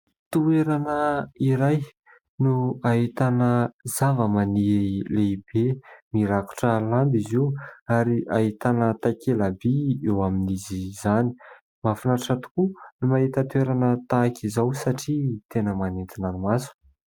Toerana iray no ahitana zavamaniry lehibe mirakotra lamba izy io ary ahitana takela-by eo amin'izy izany, mahafinatra tokoa ny mahita toerana tahaka izao satria tena manintona ny maso.